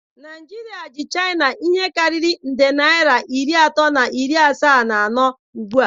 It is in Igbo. Naijiria ji chaịna ihe karịrị nde naịra iri atọ na iri asaa na anọ ugbu a.